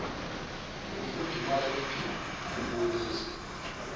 nokufudumala kwephimbo ukubonisa